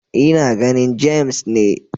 Ina ganin James ne.